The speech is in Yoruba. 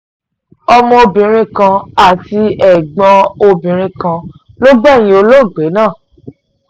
ọmọbìnrin kan àti ẹ̀gbọ́n obìnrin kan ló gbẹ̀yìn olóògbé náà